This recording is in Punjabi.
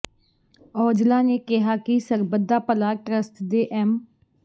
ਔਜਲਾ ਨੇ ਕਿਹਾ ਕਿ ਸਰਬਤ ਦਾ ਭਲਾ ਟਰੱਸਟ ਦੇ ਐਮ